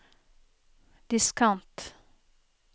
diskant